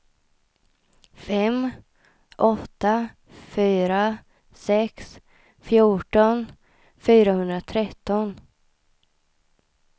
fem åtta fyra sex fjorton fyrahundratretton